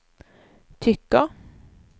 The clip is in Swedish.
tycker